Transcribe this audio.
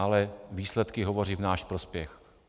Ale výsledky hovoří v náš prospěch.